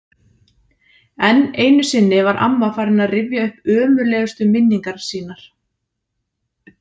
Enn einu sinni var amma farin að rifja upp ömurlegustu minningar sínar.